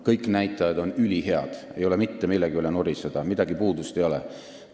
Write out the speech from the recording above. Kõik näitajad on ülihead, ei ole mitte millegi üle nuriseda, midagi puudu ei ole.